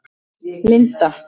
Linda